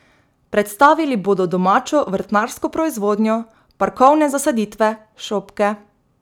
Predstavili bodo domačo vrtnarsko proizvodnjo, parkovne zasaditve, šopke ...